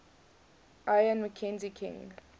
lyon mackenzie king